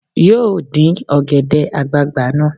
Yóò dín ọ̀gẹ̀dẹ̀ àgbagbà náà